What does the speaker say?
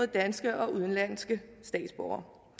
danske og udenlandske statsborgere